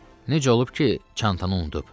Necə olub ki, çantanı unutub?